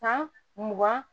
Ka mugan